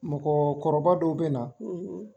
Mɔgɔkɔrɔba dɔw bɛ na.